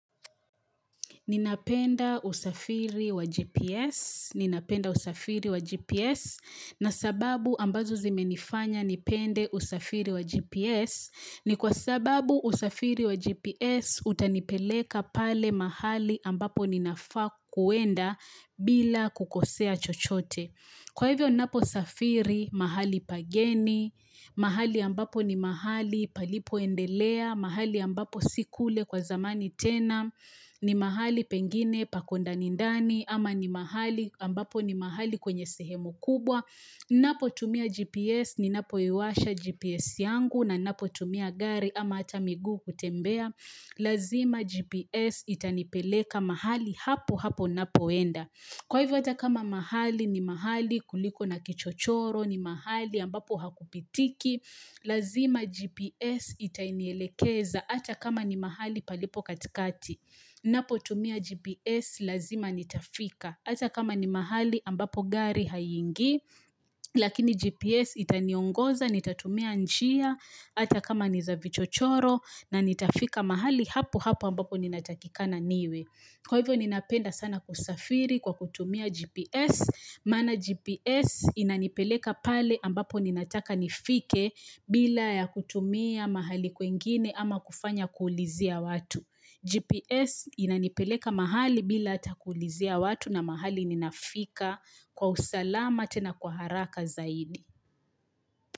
Ninapenda usafiri wa GPS, ninapenda usafiri wa GPS, na sababu ambazo zimenifanya nipende usafiri wa GPS, ni kwa sababu usafiri wa GPS utanipeleka pale mahali ambapo ninafaa kuenda bila kukosea chochote. Kwa hivyo ninapo safiri mahali pageni, mahali ambapo ni mahali palipoendelea, mahali ambapo si kule kwa zamani tena, ni mahali pengine pako ndani ndani, ama ni mahali ambapo ni mahali kwenye sehemu kubwa. Ninapo tumia GPS ninapoiwasha GPS yangu ninapo tumia gari ama hata miguu kutembea. Lazima GPS itanipeleka mahali hapo hapo ninapoenda. Kwa hivyo hata kama mahali ni mahali kuliko na kichochoro, ni mahali ambapo hakupitiki. Lazima GPS itanielekeza hata kama ni mahali palipo katikati. Napotumia GPS lazima nitafika. Hata kama ni mahali ambapo gari haingii, lakini GPS itaniongoza, nitatumia njia, hata kama ni za vichochoro na nitafika mahali hapo hapo ambapo ninatakikana niwe. Kwa hivyo ninapenda sana kusafiri kwa kutumia GPS, maana GPS inanipeleka pale ambapo ninataka nifike bila ya kutumia mahali kwingini ama kufanya kuulizia watu. GPS inanipeleka mahali bila hata kuulizia watu na mahali ninafika kwa usalama tena kwa haraka zaidi.